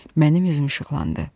Mənim üzüm işıqlandı.